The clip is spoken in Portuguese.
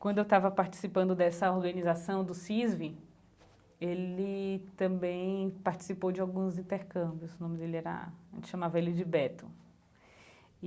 Quando eu estava participando dessa organização do CISV, ele também participou de alguns intercâmbios, o nome dele era... A gente chamava ele de Beto.